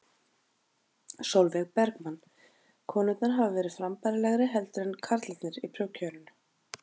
Sólveig Bergmann: Konurnar hafa verið frambærilegri heldur en karlarnir í prófkjörinu?